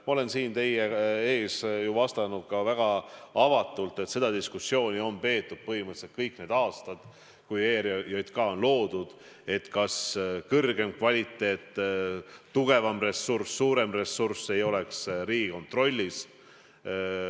Ma olen siin teie ees ju vastanud ka väga avatult, et põhimõtteliselt on peetud kõik need aastad –alates sellest, kui ERJK on loodud – seda diskussiooni, kas kõrgem kvaliteet ning tugevam ja suurem ressurss ei oleks Riigikontrollis.